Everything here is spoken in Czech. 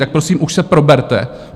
Tak prosím, už se proberte.